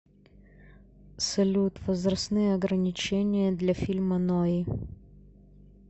салют возрастные ограничения для фильма нои